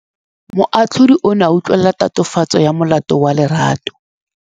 Moatlhodi o ne a utlwelela tatofatsô ya molato wa Lerato.